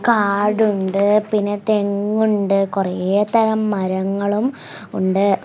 കാടുണ്ട് പിന്നെ തെങ്ങുണ്ട് കുറെ തരം മരങ്ങളും ഉണ്ട്.